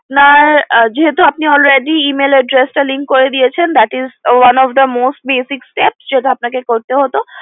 আপনার যেহেতু already Email address টা link করে দিয়েছেন যেটা one of the most badic steps যেটা আপনাকে করতে হতো